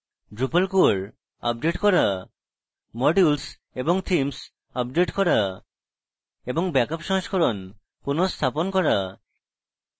drupal core update core modules এবং themes update core এবং back up সংস্করণ পুনঃস্থাপন core